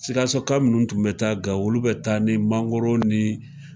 Sikasoka munnu tun be Gawo, olu tun be taa ni mangoro ni